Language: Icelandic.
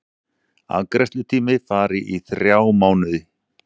Afgreiðslutími fari í þrjá mánuði